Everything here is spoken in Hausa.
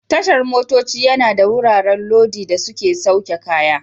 Tashar motoci yana da wuraren lodi da sauke kaya.